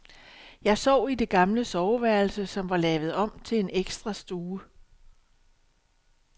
Jeg sov i det gamle soveværelse, som var lavet om til en ekstra stue.